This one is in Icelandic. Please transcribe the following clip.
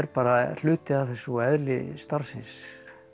bara hluti af þessu og eðli starfsins